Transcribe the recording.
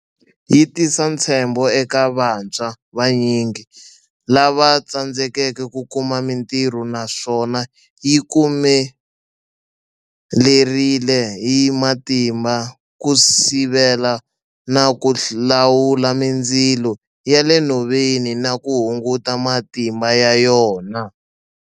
Yi tisa ntshembo eka vantshwa vanyingi lava tsandzekaka ku kuma mitirho naswona yi kume lerile hi matimba ku sivela na ku lawula mindzilo ya le nhoveni na ku hunguta matimba ya yona.